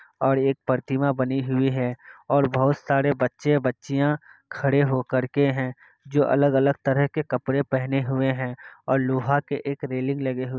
और एक प्रतिमा बनी हुई है। और बहोत सारे बच्चे बच्चियां खड़े हो कर के है जो अलग अलग तरह के कपडे पेहने हुए है। और लोहा के एक रेलिंग लगे हुए--